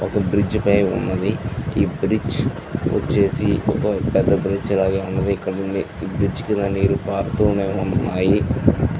ఒక బ్రిడ్జి పై ఉన్నదీ .ఈ బ్రిడ్జి వచ్చేసి ఒక పెద్ద బ్రైడ్ వాలే ఉన్నదీ. ఇక్కడ ఈ బ్రిడ్జి కింద నీరు పారుతూ ఉన్నాయి.